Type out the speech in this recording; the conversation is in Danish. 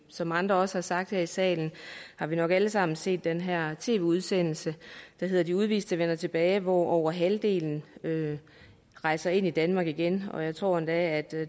som andre også har sagt her i salen har vi nok alle sammen set den her tv udsendelse der hedder de udviste vender tilbage hvoraf over halvdelen rejser ind i danmark igen jeg tror endda